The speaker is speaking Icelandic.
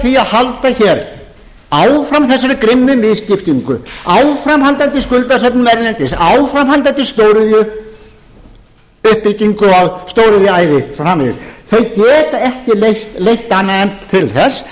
því að halda hér áfram þessari grimmu misskiptingu áframhaldandi skuldasöfnun erlendis áframhaldandi stóriðjuuppbyggingu og stóriðjuæði og svo framvegis þau geta ekki leitt annað en til þess